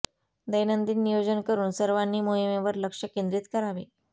दैनंदिन नियोजन करुन सर्वांनी मोहिमेवर लक्ष केंद्रीत करावे